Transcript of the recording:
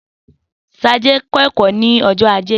Sade kẹ́kọ̀ọ́ ní ọjọ́ Ajé.